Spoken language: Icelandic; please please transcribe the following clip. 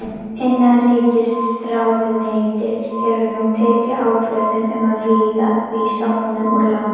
Innanríkisráðuneytið hefur nú tekið ákvörðun um að vísa honum úr landi.